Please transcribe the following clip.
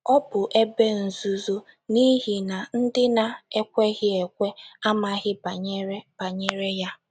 Ọ bụ ebe nzuzo n’ihi na ndị na - ekweghị ekwe amaghị banyere banyere ya.